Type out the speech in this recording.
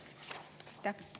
Aitäh!